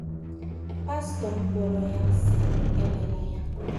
Pastọ m kọọrọ ya sịrị m emela ya.